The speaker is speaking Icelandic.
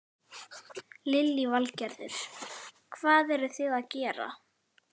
Lillý Valgerður: Hvað eruð þið að gera?